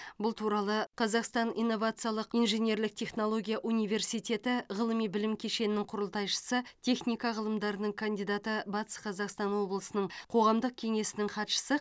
бұл туралы қазақстан инновациялық инженерлік технология университеті ғылыми білім кешенінің құрылтайшысы техника ғылымдарының кандидаты батыс қазақстан облысының қоғамдық кеңесінің хатшысы